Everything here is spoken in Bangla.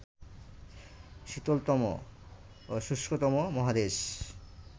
শীতলতম ও শুষ্কতম মহাদেশ